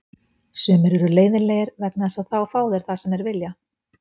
Sumir eru leiðinlegir vegna þess að þá fá þeir það sem þeir vilja.